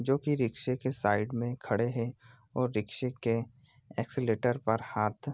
जो कि रिक्शा की साइड में खड़े हैं और रिक्शों के एक्सीलेटर पर हाथ रखा हुआ है।